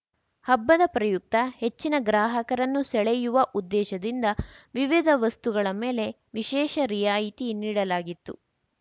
ಹಬ್ಬದ ಪ್ರಯುಕ್ತ ಹೆಚ್ಚಿನ ಗ್ರಾಹಕರನ್ನು ಸೆಳೆಯುವ ಉದ್ದೇಶದಿಂದ ವಿವಿಧ ವಸ್ತುಗಳ ಮೇಲೆ ವಿಶೇಷ ರಿಯಾಯಿತಿ ನೀಡಲಾಗಿತ್ತು